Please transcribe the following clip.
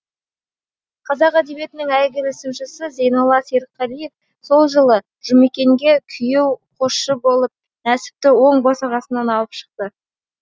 қазақ әдебиетінің әйгілі сыншысы зейнолла серікқалиев сол жылы жұмекенге күйеу қосшы болып нәсіпті оң босағасынан алып шықты